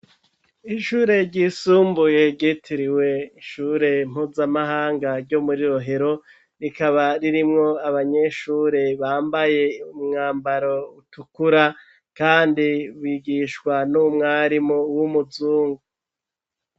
Ishure ryisumbuye ryitiriwe ishure mpuzamahanga ryo muri Rohero rikaba ririmwo abanyeshure bambaye umwambaro utukura kandi bigishwa n'umwarimu w'umuzungu.